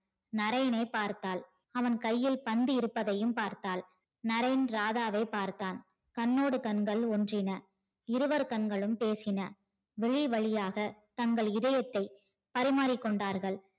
நரேனை பார்த்தால் அவன் கையில் பந்து இருப்பதையும் பார்த்தால் நரேன் ராதாவை பார்த்தான் கண்ணோடு கண்கள் ஒன்றின இருவர் கண்களும் பேசின விழி வழியாக தங்கள் இதயத்தை பரிமாரிகொண்டார்கள்